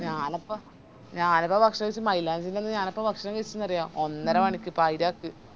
ഞാനപ്പോ ഞാനെപ്പ ഭക്ഷണം കായ്ച്ച മൈലാഞ്ചിന്റന്ന് ഞാനിപ്പ ഭക്ഷണം കൈചെന്നറിയോ ഒന്നര മണിക്ക് പായിരക്ക്